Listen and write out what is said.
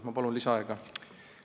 Ma palun lisaaega!